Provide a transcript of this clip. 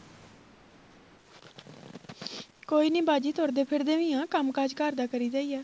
ਕੋਈ ਨਹੀਂ ਬਾਜੀ ਤੁਰਦੇ ਫਿਰਦੇ ਵੀ ਆ ਕੰਮਕਾਜ ਘਰ ਦਾ ਕਰੀ ਦਾ ਆ